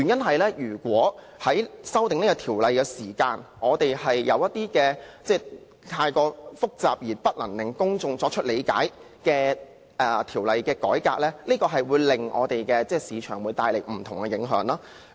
否則在修訂條例時，如果有一些太複雜而難以令公眾理解的法律改革，或會為市場帶來影響。